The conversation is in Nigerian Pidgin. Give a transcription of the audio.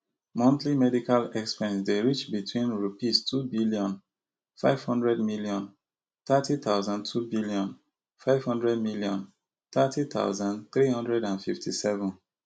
monthly medical expense dey reach between Rupees two billion, five hundred million, thirty thousand two billion, five hundred million, thirty thousand three hundred and fifty-seven